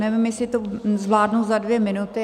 Nevím, jestli to zvládnu za dvě minuty.